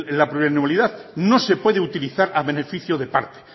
la plurianulidad no se puede utilizar a beneficio de parte